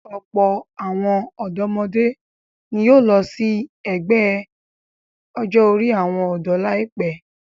Ọ̀pọ̀ àwọn ọ̀dọ́mọdé ni yóò lọ sí ẹgbẹ́ ọjọ́-orí àwọn ọ̀dọ́ láìpẹ́.